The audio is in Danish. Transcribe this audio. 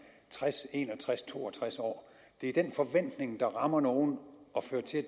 tres en og tres to og tres år det er den forventning der rammer nogle og fører til at